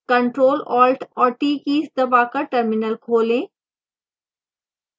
ctrl + alt और t keys दबाकर terminal खोलें